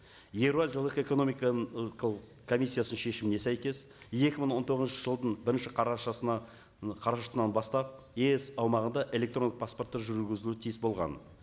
еуразиялық экономиканың комиссиясының шешіміне сәйкес екі мың он тоғызыншы жылдың бірінші қарашасына қарашасынан бастап еэс аумағында электрондық паспорттар жүргізілу тиіс болған